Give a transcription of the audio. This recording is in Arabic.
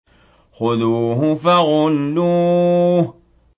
خُذُوهُ فَغُلُّوهُ